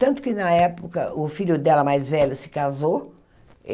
Tanto que, na época, o filho dela mais velho se casou.